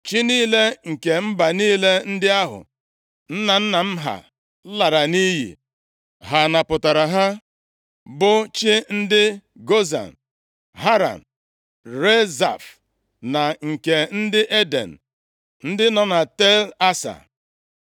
Chi niile nke mba niile ndị ahụ nna nna m ha lara nʼiyi, ha napụtara ha, bụ chi ndị Gozan, Haran, Rezef na nke ndị Eden, ndị nọ na Tel Asa?